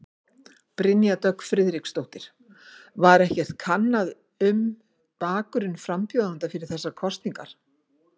Brynja Dögg Friðriksdóttir: Var ekkert kannað um um bakgrunn frambjóðenda fyrir þessar kosningar?